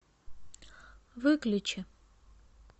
выключи